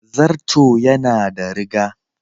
Zarto yana da riga.